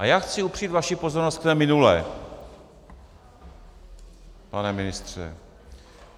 A já chci upřít vaši pozornost k té minulé, pane ministře.